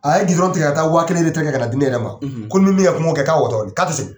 A ye gidɔrɔn tigɛ ka taa wa kelen ka na di ne yɛrɛma ko ni ne ye kɛ k'a watɔ di k'a tɛ segin.